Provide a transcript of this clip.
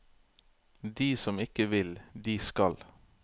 De som ikke vil, de skal.